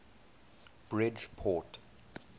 bridgeport